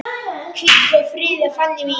Hvíl í friði, Fanný mín.